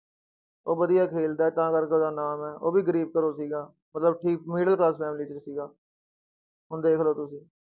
ਉਹ ਵਧੀਆ ਖੇਲਦਾ ਹੈ ਤਾਂ ਕਰਕੇ ਉਹਦਾ ਨਾਮ ਹੈ, ਉਹ ਵੀ ਗ਼ਰੀਬ ਘਰੋਂ ਸੀਗਾ, ਮਤਲਬ ਠੀਕ middle class family ਚੋਂ ਸੀਗਾ ਹੁਣ ਦੇਖ ਲਓ ਤੁਸੀਂ।